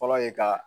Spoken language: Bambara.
Fɔlɔ ye ka